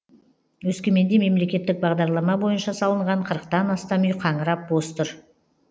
өскеменде мемлекеттік бағдарлама бойынша салынған қырықтан астам үй қаңырап бос тұр